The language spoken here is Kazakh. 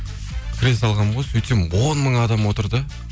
кіре салғанмын ғой сөйтсем он мың адам отыр да